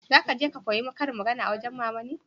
za ka je ka koya ƙarin magana a wajen mama ne?